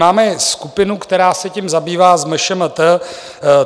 Máme skupinu, která se tím zabývá, s MŠMT.